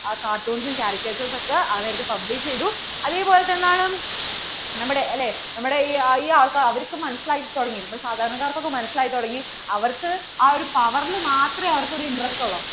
ആ cartoons ഉം carrciature ഉം ഒക്കെ ആ നേരത്തു publish ചെയ്തു. അതേപോലെ തന്നെയെന്താണ് നമ്മടെ അല്ലേ ഈ ആൾക്കാർക്ക് മനസിലായി തുടങ്ങി അപ്പോൾ സാധാരണകാർക്ക് ഒക്കെ മനസിലായി തുടങ്ങി അവർക്ക് ആ ഒരു power ൽ മാത്രവേ അവർക്കു ഒരു interest ഉള്ളൂന്